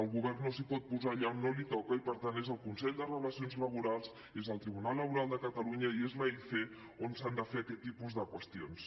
el govern no es pot posar allà on no li toca i per tant és el consell de relacions laborals és el tribunal laboral de catalunya i és en l’aic on s’han de fer aquest tipus de qüestions